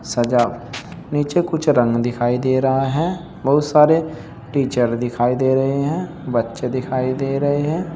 सजा नीचे कुछ रंग दिखाई दे रहा है बहुत सारे टीचर दिखाई दे रहे हैं बच्चे दिखाई दे रहे हैं।